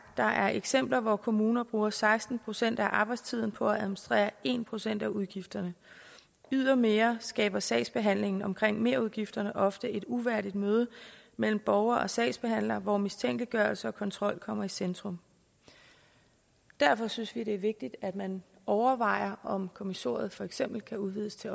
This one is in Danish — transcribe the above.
der er eksempler hvor kommuner bruger seksten procent af arbejdstiden på at administrere en procent af udgifterne yderligere skaber sagsbehandlingen omkring merudgifterne ofte et uværdigt møde mellem borger og sagsbehandler hvor mistænkeliggørelse og kontrol kommer i centrum derfor synes vi at det er vigtigt at man overvejer om kommissoriet for eksempel kan udvides til